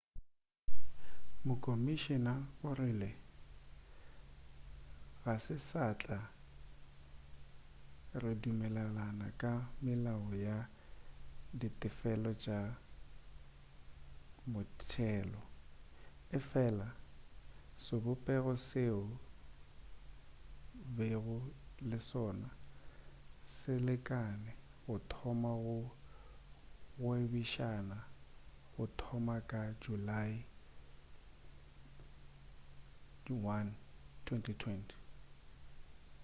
mokomišina o rile ga se satla re dumelelana ka melao ya ditefelo tša motšelo efela sebopego seo bego le sona se lekane go thoma go gwebišana go thoma ka julae 1 2020